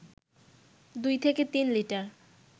দুই থেকে তিন লিটার